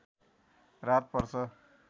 रात पर्छ